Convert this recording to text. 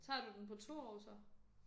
Tager du den på 2 år så?